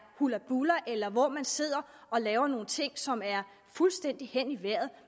hullabulla eller hvor man sidder og laver nogle ting som er fuldstændig hen i vejret